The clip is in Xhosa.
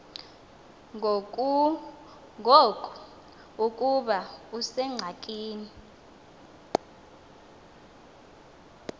ngoku ukuba usengxakini